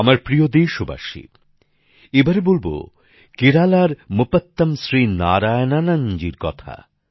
আমার প্রিয় দেশবাসী এবারে বলবো কেরালার মুপত্তাম শ্রী নারায়ণনজী কথা